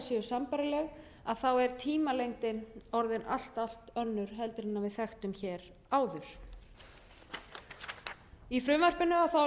séu sambærileg þá er tímalengdin orðin allt önnur heldur en við þekktum áður í frumvarpinu er